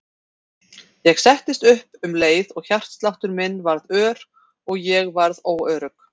Ég settist upp um leið og hjartsláttur minn varð ör og ég varð óörugg.